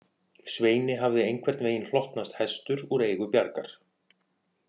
Sveini hafði einhvern veginn hlotnast hestur úr eigu Bjargar